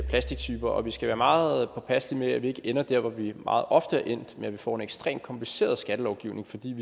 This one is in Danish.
plastiktyper og vi skal være meget påpasselige med at vi ikke ender der hvor vi meget ofte er endt hvor vi får en ekstremt kompliceret skattelovgivning fordi vi